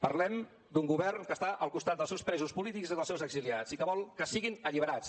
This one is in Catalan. parlem d’un govern que està al costat dels seus presos polítics i dels seus exiliats i que vol que siguin alliberats